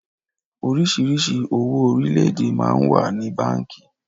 Oríṣiríṣi owó orílédé máa ń wà ní báńkì